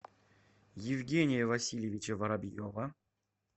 евгения васильевича воробьева